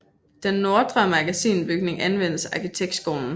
Den Nordre Magasinbygning anvendes af arkitektskolen